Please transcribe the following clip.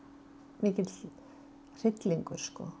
mikill hryllingur